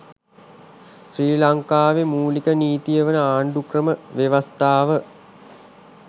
ශ්‍රී ලංකාවේ මූලික නීතිය වන ආණ්ඩුක්‍රම ව්‍යවස්ථාව